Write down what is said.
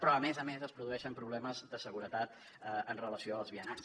però a més a més es produeixen problemes de seguretat en relació amb els vianants